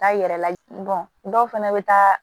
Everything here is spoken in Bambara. Taa yɛrɛ lajigin dɔw fɛnɛ bɛ taa